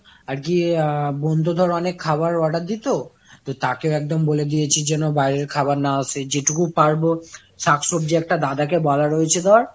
আর কি বোনতো ধরে বাইরে থেকে অনেক খাবার order দিতো, তো তাকে ও একদম বলে দিয়েছি যেন বাইরের খাবার না আসে । যে টুকু পারবো শাক সবজি একটা দাদা ক বলা রয়েছে ধর